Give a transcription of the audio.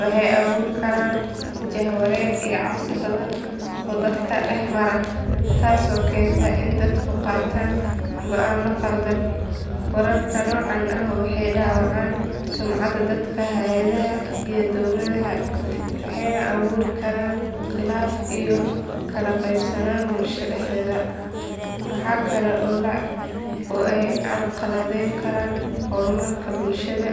waxay abuuri karaan jahawareer iyo cabsi badan oo dadka dhex mara, taasoo keenta in dadku qaataan go’aano khaldan. Wararka noocan ah waxay dhaawacaan sumcadda dadka, hay’adaha iyo dowladaha waxayna abuuri karaan khilaaf iyo kala qaybsanaan bulshada dhexdeeda. Waxa kale oo ay carqaladeyn karaan horumarka bulshada